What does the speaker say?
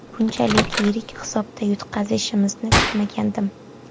Bunchalik yirik hisobda yutqazishimizni kutmagandim.